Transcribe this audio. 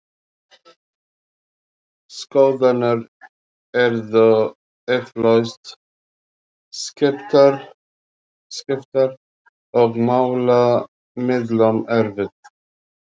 Skoðanir yrðu eflaust skiptar og málamiðlun erfið.